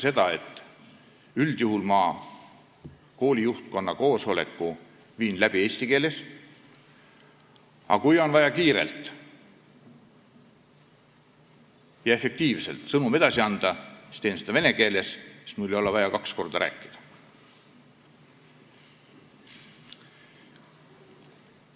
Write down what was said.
Ka mina viin üldjuhul kooli juhtkonna koosoleku läbi eesti keeles, aga kui on vaja kiirelt ja efektiivselt sõnum edasi anda, siis teen seda vene keeles, siis ei ole mul vaja kaks korda rääkida.